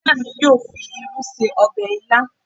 Ìyá mi yóò fi irú ṣe ọbẹ̀ ilá